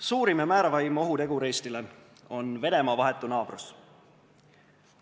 Suurim ja määravaim ohutegur Eestile on Venemaa vahetu naabrus.